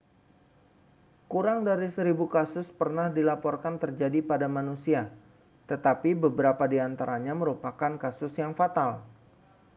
kurang dari seribu kasus pernah dilaporkan terjadi pada manusia tetapi beberapa di antaranya merupakan kasus yang fatal